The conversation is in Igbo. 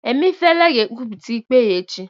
Emeifele ga-ekwupụta ikpe ya echi